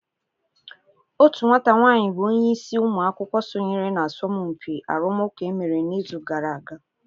Otu nwata nwaanyị bụ onye isi ụmụ akwụkwọ sonyere na asọmpi arụmụka e mere n'izu gara aga.